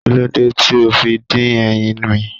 Kíló dé tí ó fi dín ẹyin mi?